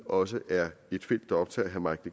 også ved er et felt der optager herre mike